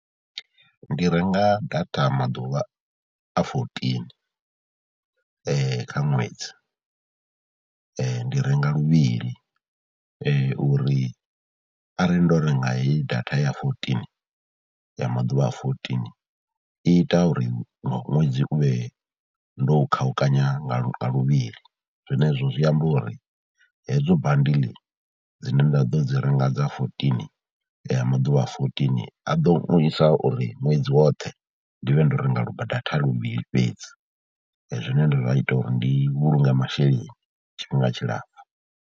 Ndi renga data maḓuvha a fourteen kha ṅwedzi, ndi renga luvhili uri arali ndo renga heyi data ya fourteen, ya maḓuvha a fourteen i ita uri ṅwedzi ndi vhe ndo u khaukanya nga luvhili. Zwenezwo zwi amba uri hedzo bandiḽi dzine nda ḓo dzi renga dza fourteen, dza maḓuvha a fourteen a ḓo isa uri ṅwedzi woṱhe ndi vhe ndo renga lu data luvhili fhedzi, zwine zwa ita uri ndi vhulunge masheleni tshifhinga tshilapfhu.